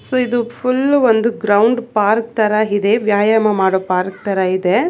ಇದು ಫುಲ್ಲು ಒಂದು ground park ತರ ಇದೆ ವ್ಯಾಯಾಮ ಮಾಡೊ ಪಾರ್ಕ್ ತರ ಇದೆ.